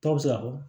Dɔw bɛ se ka fɔ